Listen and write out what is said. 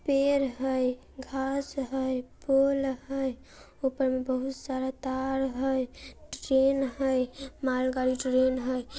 पेड़ है घास है पोल है ऊपर मे बहुत सारे तार हैं ट्रेन है मालगाड़ी ट्रेन है।